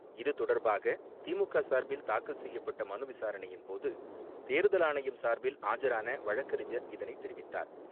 இது தொடர்பாகதிமுகசார்பில் தாக்கல் செய்யப்பட்டமனுவிசாரணையின்போது, தேர்தல் ஆணையம் சார்பில் ஆஜரானவழக்கறிஞர் இதனைதெரிவித்தார்.